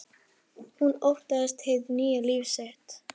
Hún óttast hið nýja líf sitt.